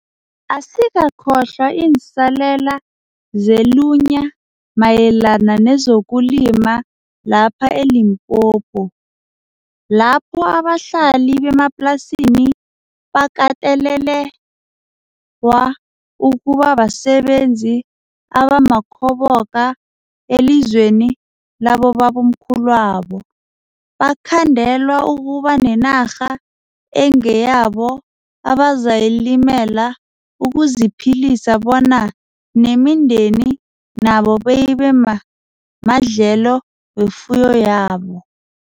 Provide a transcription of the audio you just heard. Asikakhohlwa iinsalela zelunya mayelana nezokulima lapha e-Limpopo, lapho abahlali bemaplasini bakatelelewa ukuba basebenzi abamakhoboka elizweni labobamkhulwabo, bakhandelwa ukuba nenarha engeyabo abazayilimela ukuziphilisa bona neminde nabo beyibemadlelo wefuyo yabo.